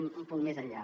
un punt més enllà